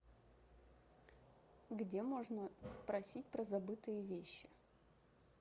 где можно спросить про забытые вещи